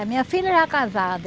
A minha filha já casada.